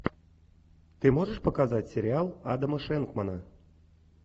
ты можешь показать сериал адама шенкмана